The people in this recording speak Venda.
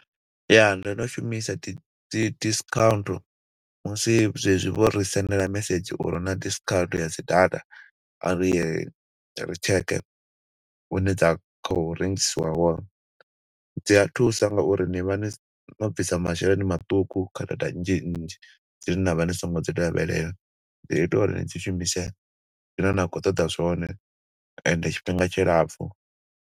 Ya, ndo no shumisa dzi discount musi zwe zwi vho ri sendela mesedzhi uri hu na discount ya dzi data, ari ye ri tsheke hune dza khou rengisiwa hone. Dzi a thusa nga uri ni vha ni, no bvisa masheleni maṱuku kha data nnzhi nnzhi dzine na vha ni songo dzi lavhelela. Dzi ita uri ni dzi shumise zwine na khou ṱoḓa zwone, ende tshifhinga tshilapfu.